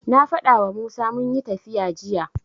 Na faɗawa Musa munyi tafiya jiya.